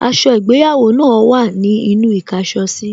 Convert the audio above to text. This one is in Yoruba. Aṣọ ìgbéyàwó náà wà ní inú īkáso sí